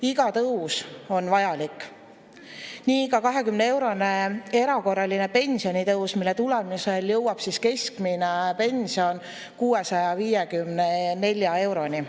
Iga tõus on vajalik, nii ka 20-eurone erakorraline pensionitõus, mille tulemusel jõuab keskmine pension 654 euroni.